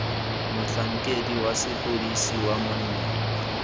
motlhankedi wa sepodisi wa monna